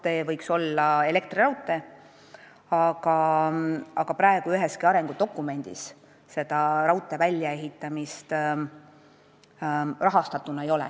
See liin võiks olla elektriraudtee, aga praegu üheski arengudokumendis selle väljaehitamist rahastatuna sees ei ole.